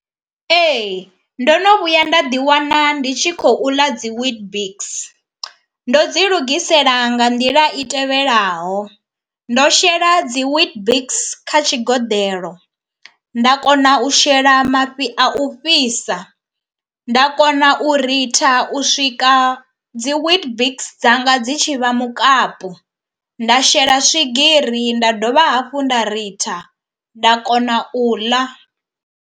Ee ndo no vhuya nda ḓi wana ndi tshi khou ḽa dzi weetbix. Ndo dzi lugisela nga nḓila i tevhelaho ndo shela dzi weetbix kha tshigoḓelo, nda kona u shela mafhi a u fhisa, nda kona u ritha u swika dzi weetbix dzanga dzi tshi vha mukapu, nda shela swigiri, nda dovha hafhu nda ritha nda kona u ḽa.